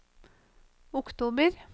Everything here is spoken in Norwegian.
oktober